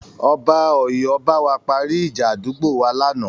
Ọba Ọ̀yọ́ bá wa parí ìjà àdúgbò wa lánàá.